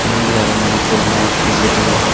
undi aro manuj degongor pijedi.